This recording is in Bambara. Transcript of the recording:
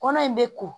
Kɔnɔ in bɛ ko